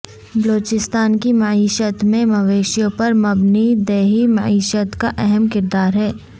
بلوچستان کی معیشت میں مویشیوں پر مبنی دیہی معیشت کا اہم کردار ہے